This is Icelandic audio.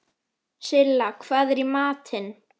Silla, hvað er í matinn?